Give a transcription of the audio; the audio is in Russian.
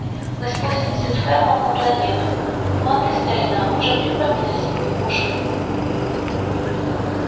мы спустимся с ферлом на планету ну а ты старина уже прикрой меня своими пушками